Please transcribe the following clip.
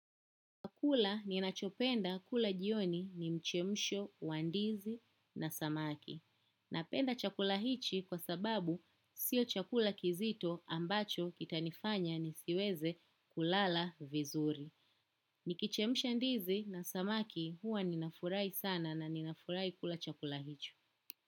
Kula ni nachopenda kula jioni ni mchemsho, wa ndizi na samaki. Napenda chakula hichi kwa sababu sio chakula kizito ambacho kita nifanya ni siweze kulala vizuri. Nikichemsha ndizi na samaki huwa ninafurahi sana na ninafurahi kula chakula hicho.